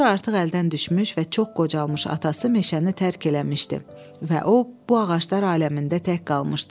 Sonra artıq əldən düşmüş və çox qocalmış atası meşəni tərk eləmişdi və o bu ağaclar aləmində tək qalmışdı.